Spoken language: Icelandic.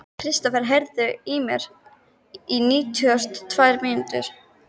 Kristofer, heyrðu í mér eftir níutíu og tvær mínútur.